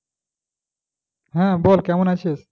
হ্যাঁ বল কেমন আছিস?